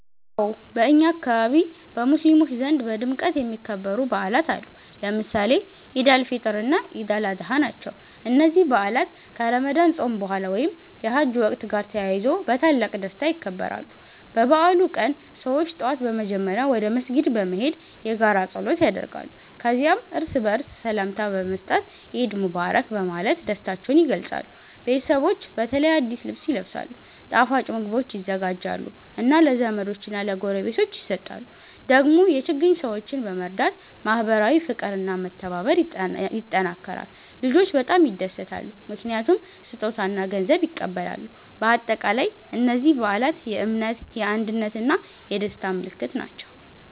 አዎን፣ በእኛ አካባቢ በሙስሊሞች ዘንድ በድምቀት የሚከበሩ በዓላት አሉ፣ ለምሳሌ ኢድ አል-ፊጥር እና ኢድ አል-አድሃ። እነዚህ በዓላት ከረመዳን ጾም በኋላ ወይም የሐጅ ወቅት ጋር ተያይዞ በታላቅ ደስታ ይከበራሉ። በበዓሉ ቀን ሰዎች ጠዋት በመጀመሪያ ወደ መስጊድ በመሄድ የጋራ ጸሎት ያደርጋሉ። ከዚያም እርስ በርስ ሰላምታ በመስጠት “ኢድ ሙባረክ” በማለት ደስታቸውን ይገልጻሉ። ቤተሰቦች በተለይ አዲስ ልብስ ይለብሳሉ፣ ጣፋጭ ምግቦች ይዘጋጃሉ እና ለዘመዶች እና ለጎረቤቶች ይሰጣሉ። ደግሞ የችግኝ ሰዎችን በመርዳት ማህበራዊ ፍቅር እና መተባበር ይጠናከራል። ልጆች በጣም ይደሰታሉ ምክንያቱም ስጦታ እና ገንዘብ ይቀበላሉ። በአጠቃላይ እነዚህ በዓላት የእምነት፣ የአንድነት እና የደስታ ምልክት ናቸው።